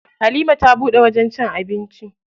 Halima ta buɗe wajen cin abinci.